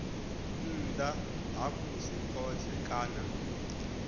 nnḓa ha musi khothe kana